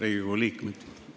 Riigikogu liikmed!